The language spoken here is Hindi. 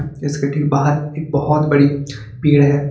इसके ठीक बाहर एक बहुत बड़ी पेड़ है।